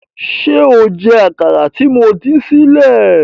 Ṣé o jẹ àkàrà tí mo dín sílẹ̀?